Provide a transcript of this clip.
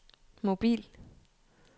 mobil